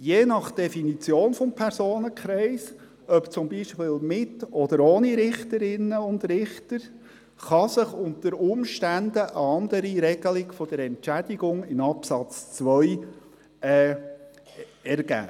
– Je nach Definition des Personenkreises, ob zum Beispiel mit oder ohne Richterinnen und Richter, kann sich unter Umständen eine andere Regelung der Entschädigung in Absatz 2 ergeben.